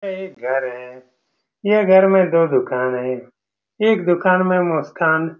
यह एक घर है यह घर में दो दुकान है एक दुकान में मुस --